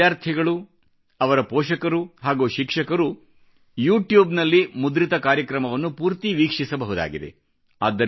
ಎಲ್ಲ ವಿದ್ಯಾರ್ಥಿಗಳು ಅವರ ಪೋಷಕರು ಹಾಗೂ ಶಿಕ್ಷಕರು ಯು ಟ್ಯೂಬ್ ನಲ್ಲಿ ಮುದ್ರಿತ ಕಾರ್ಯಕ್ರಮವನ್ನು ಪೂರ್ತಿ ವೀಕ್ಷಿಸಬಹುದಾಗಿದೆ